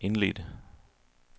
indledte